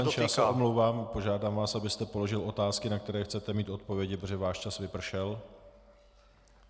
Pane poslanče, já se omlouvám, požádám vás, abyste položil otázky, na které chcete mít odpovědi, protože váš čas vypršel.